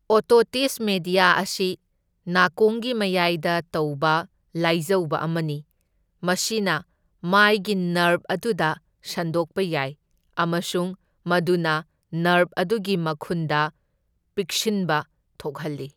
Otitis media ꯑꯁꯤ ꯅꯥꯀꯣꯡꯒꯤ ꯃꯌꯥꯢꯗ ꯇꯧꯕ ꯂꯥꯢꯖꯧꯕ ꯑꯃꯅꯤ, ꯃꯁꯤꯅ ꯃꯥꯢꯒꯤ ꯅꯔꯚ ꯑꯗꯨꯗ ꯁꯟꯗꯣꯛꯄ ꯌꯥꯏ ꯑꯃꯁꯨꯡ ꯃꯗꯨꯅ ꯅꯔꯚ ꯑꯗꯨꯒꯤ ꯃꯈꯨꯟꯗ ꯄꯤꯛꯁꯤꯟꯕ ꯊꯣꯛꯍꯜꯂꯤ꯫